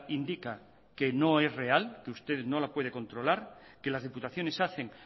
indica que no es real que usted no la puede controlar que las diputaciones hacen